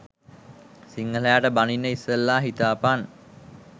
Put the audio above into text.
සිංහලයන්ට බනින්න ඉස්සෙල්ල හිතපන්